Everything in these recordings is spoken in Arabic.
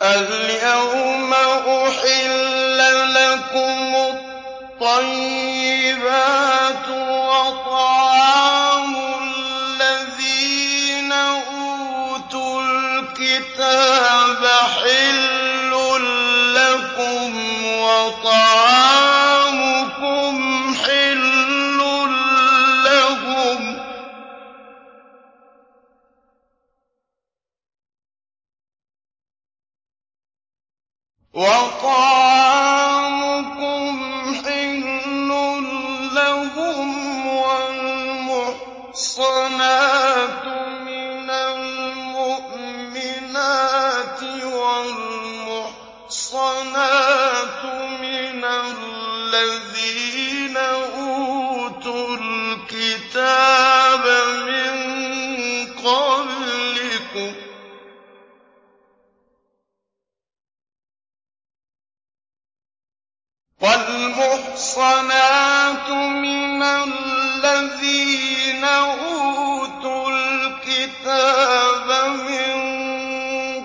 الْيَوْمَ أُحِلَّ لَكُمُ الطَّيِّبَاتُ ۖ وَطَعَامُ الَّذِينَ أُوتُوا الْكِتَابَ حِلٌّ لَّكُمْ وَطَعَامُكُمْ حِلٌّ لَّهُمْ ۖ وَالْمُحْصَنَاتُ مِنَ الْمُؤْمِنَاتِ وَالْمُحْصَنَاتُ مِنَ الَّذِينَ أُوتُوا الْكِتَابَ مِن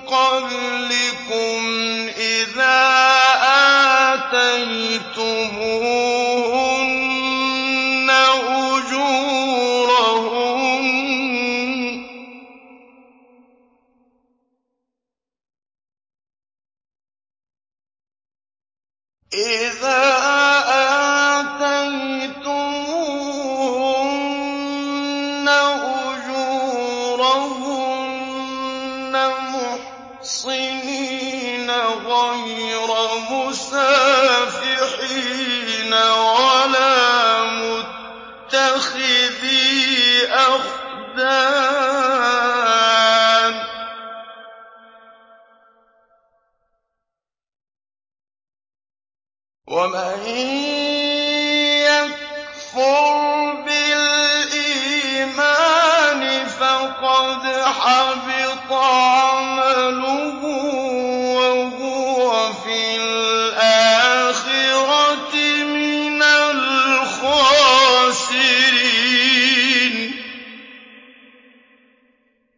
قَبْلِكُمْ إِذَا آتَيْتُمُوهُنَّ أُجُورَهُنَّ مُحْصِنِينَ غَيْرَ مُسَافِحِينَ وَلَا مُتَّخِذِي أَخْدَانٍ ۗ وَمَن يَكْفُرْ بِالْإِيمَانِ فَقَدْ حَبِطَ عَمَلُهُ وَهُوَ فِي الْآخِرَةِ مِنَ الْخَاسِرِينَ